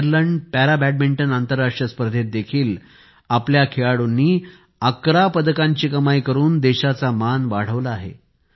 Ireland para badminton आंतरराष्ट्रीय स्पर्धेत देखील आपल्या खेळाडूंनी 11 पदकांची कमाई करून देशाचा मान वाढविला आहे